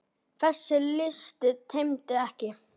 Þessi listi tæmist ekki.